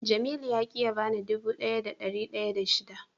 Jamilu ya ki ya bani dubu daya da dari daya da shida.